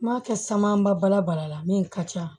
N m'a kɛ san ba bala bara la min ka ca